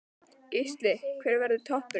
Gísli: Hver verður toppurinn?